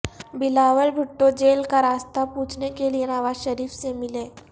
Bilawal Bhutto jail کا راستہ پوچھنے کےلئے نوازشریف سے ملے